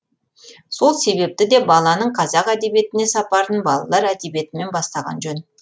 сол себепті де баланың қазақ әдебиетіне сапарын балалар әдебиетімен бастаған жөн